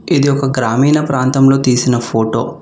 ఇది ఒక గ్రామీణ ప్రాంతంలో తీసిన ఫోటో .